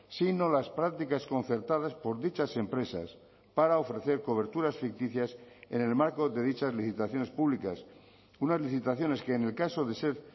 sino las prácticas concertadas por dichas empresas para ofrecer coberturas ficticias en el marco de dichas licitaciones públicas unas licitaciones que en el caso de ser